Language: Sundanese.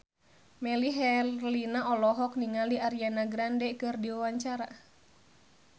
Melly Herlina olohok ningali Ariana Grande keur diwawancara